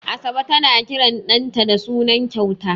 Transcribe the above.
Asabe tana kiran ɗanta da suna kyauta.